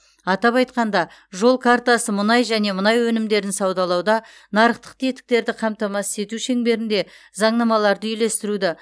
атап айтқанда жол картасы мұнай және мұнай өнімдерін саудалауда нарықтық тетіктерді қамтамасыз ету шеңберінде заңнамаларды үйлестіруді